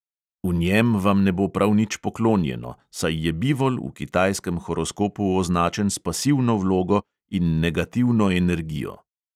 V njem vam ne bo prav nič poklonjeno, saj je bivol v kitajskem horoskopu označen s pasivno vlogo in negativno energijo.